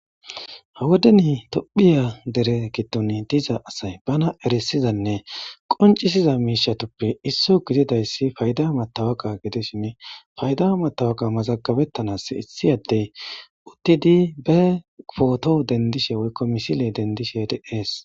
ha wodeni tophphiya dere giddon diza asay bana erisizanne qoncisiza miishatuppe isso gididayssi fayda matawoka gidishini fayda matawoka mazagabettanas issi addey uttidi be pooto dendishe woykko misile dendishe dees.